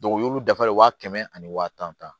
u y'u dafalen wa kɛmɛ ani wa tan